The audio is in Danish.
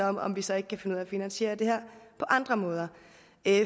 om om vi så ikke kan finde ud af at finansiere det her på andre måder